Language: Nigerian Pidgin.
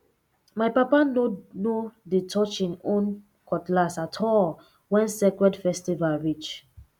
my papa no no dey touch him own cutlass at all when sacred festival reach